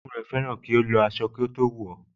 Orogún ẹ̀ fẹ́ràn kí ó lọ aṣọ kí ó tó wọ̀ ọ́